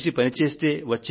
కలసి పని చేస్తే